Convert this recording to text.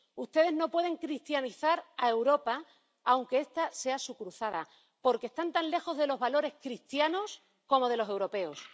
Ustedes no pueden cristianizar a Europa, aunque esta sea su cruzada, porque están tan lejos de los valores cristianos como de los europeos.